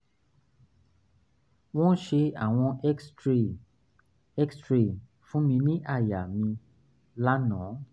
wọ́n ṣe àwọ̀n x-ray x-ray fún mi ní àyà mi lánàá